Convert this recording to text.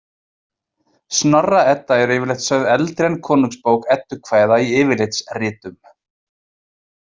Snorra- Edda er yfirleitt sögð eldri en Konungsbók eddukvæða í yfirlitsritum.